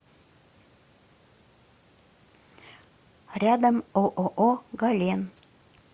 рядом ооо гален